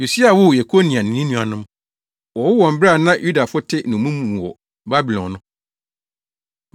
Yosia woo Yekonia ne ne nuanom. Wɔwoo wɔn bere a na Yudafo te nnommum mu wɔ Babilon no.